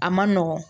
A man nɔgɔn